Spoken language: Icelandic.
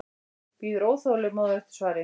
Bíður óþolinmóð eftir svari.